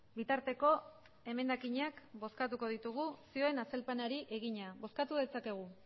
bitarteko emendakinak bozkatuko ditugu zioen azalpenari egina bozkatu dezakegu